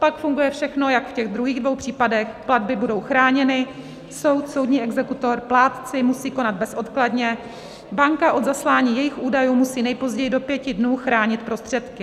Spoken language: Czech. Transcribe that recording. Pak funguje všechno jako v těch druhých dvou případech, platby budou chráněny, soud, soudní exekutor, plátci musí konat bezodkladně, banka od zaslání jejich údajů musí nejpozději do pěti dnů chránit prostředky.